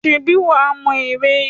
Ṣèbí wà á mọ ère?